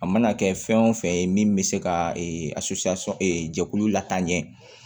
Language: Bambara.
A mana kɛ fɛn wo fɛn ye min be se ka jɛkulu lataa ɲɛ